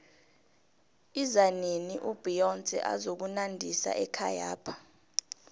izanini ubeyonce azokunandisa ekhayapha